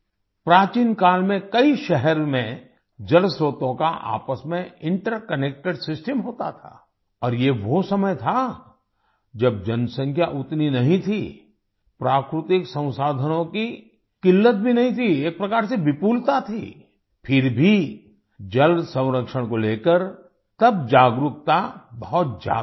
प्राचीन काल में कई शहर में जलस्त्रोतों का आपस में इंटरकनेक्टेड सिस्टम होता था और ये वो समय था जब जनसंख्या उतनी नहीं थी प्राकृतिक संसाधनों की क़िल्लत भी नहीं थी एक प्रकार से विपुलता थी फिर भी जल संरक्षण को लेकर तब जागरूकता बहुत ज्यादा थी